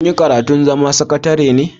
Kin yi karatun zama sakatare ne?